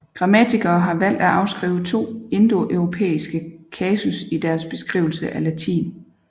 Grammatikere har valgt at afskrive to indoeuropæiske kasus i deres beskrivelse af latin